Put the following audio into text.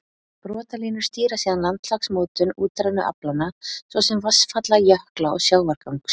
Brotalínur stýra síðan landslagsmótun útrænu aflanna, svo sem vatnsfalla, jökla, og sjávargangs.